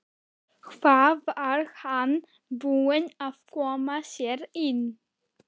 Hvað var hann búinn að koma sér í?